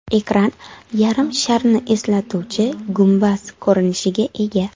Ekran yarim sharni eslatuvchi gumbaz ko‘rinishiga ega.